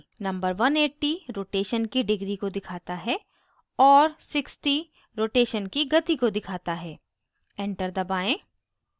number 180 rotation की degrees को दिखाता है और 60 rotation की गति को दिखाता है enter दबाएं